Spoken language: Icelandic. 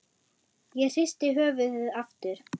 Ég hristi höfuðið aftur.